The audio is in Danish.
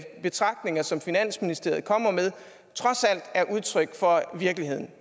de betragtninger som finansministeriet kommer med trods alt er udtryk for virkeligheden